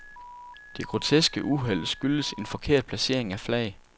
Det groteske uheld skyldtes en forkert placering af flag.